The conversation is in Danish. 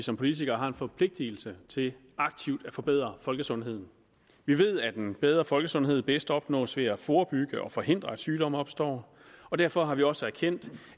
som politikere har en forpligtelse til aktivt at forbedre folkesundheden vi ved at en bedre folkesundhed bedst opnås ved at forebygge og forhindre at sygdomme opstår og derfor har vi også erkendt